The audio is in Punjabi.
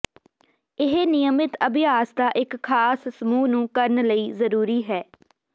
ਇਹ ਨਿਯਮਿਤ ਅਭਿਆਸ ਦਾ ਇੱਕ ਖਾਸ ਸਮੂਹ ਨੂੰ ਕਰਨ ਲਈ ਜ਼ਰੂਰੀ ਹੈ